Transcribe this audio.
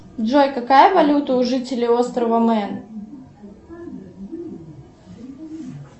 джой какая валюта у жителей острова мэн